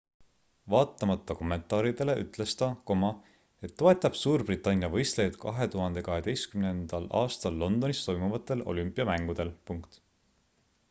vaatamata kommentaaridele ütles ta et toetab suurbritannia võistlejaid 2012 aastal londonis toimuvatel olümpiamängudel